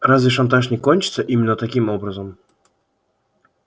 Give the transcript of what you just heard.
разве шантаж не кончится именно таким образом